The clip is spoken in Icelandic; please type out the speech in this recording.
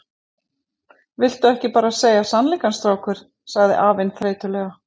Viltu ekki bara segja sannleikann, strákur? sagði afinn þreytulega.